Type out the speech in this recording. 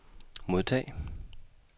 modtag